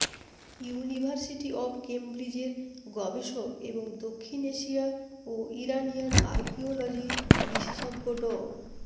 university of ক্যামব্রিজের গবেষক এবং দক্ষিণ এশিয়া ও ইরানিয়ান আর্কিওলজি বিশেষজ্ঞ ড